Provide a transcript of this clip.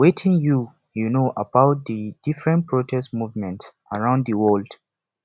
wetin you you know about di different protest movement around di world